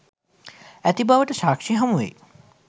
ඇති බවට සාක්‍ෂි හමුවෙයි.